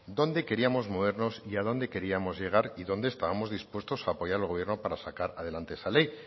dónde queríamos movernos y a dónde queríamos llegar y dónde estábamos dispuestos a apoyar al gobierno para sacar adelante esa ley